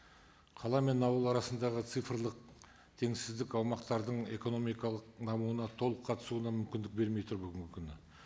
қала мен ауыл арасындағы цифрлық теңсіздік аумақтардың экономикалық дамуына толық қатысуына мүмкіндік бермей тұр бүгінгі күні